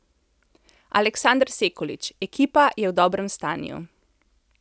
Aleksander Sekulić: 'Ekipa je v dobrem stanju.